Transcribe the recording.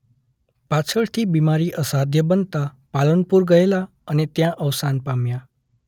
પાછળથી બીમારી અસાધ્ય બનતાં પાલનપુર ગયેલા અને ત્યાં અવસાન પામ્યા.